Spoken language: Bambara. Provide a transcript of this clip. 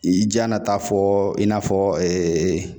I janna ka taa fɔ i n'a fɔ